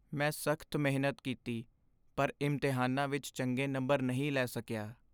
ਮੈਂ ਸਖ਼ਤ ਮਿਹਨਤ ਕੀਤੀ ਪਰ ਇਮਤਿਹਾਨਾਂ ਵਿੱਚ ਚੰਗੇ ਨੰਬਰ ਨਹੀਂ ਲੈ ਸਕਿਆ।